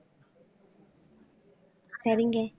சரிங்க